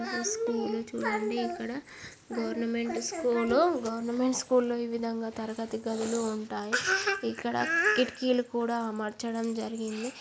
ఈ స్కూల్ చూడండి. ఇక్కడ గవర్నమెంట్ స్కూల్ గవర్నమెంట్ స్కూల్ లో ఈ విధంగా తరగత గదులు ఉంటాయి. ఇక్కడ కిటికీలు కూడా అమర్చడం జరిగింది.